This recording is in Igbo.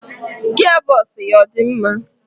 Gia bos ya ọ dị mma?